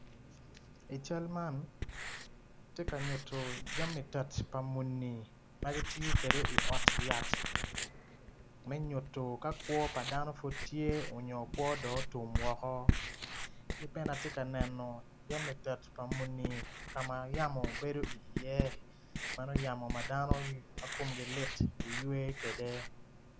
I cal man ti ka nyuto jami tet pa muni ma kitiyo kede i ot yat me nyutto ka kwo pa dano pud tye onyo otum woko ki bene ati ka neno jami tet pa muni ka yamo bedo iye meno yamo ma dano ma kumgi lit giywe kede